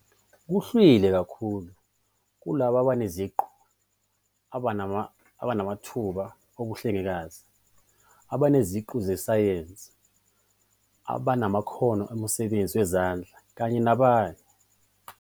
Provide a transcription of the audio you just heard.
Kugxilwe kakhulu kulabo abaneziqu, abanamathuba obuhlengikazi, abaneziqu zesayensi, abanamakhono omsebenzi wezandla kanye nabanye.